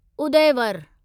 Udayvar